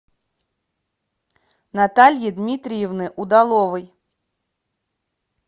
натальи дмитриевны удаловой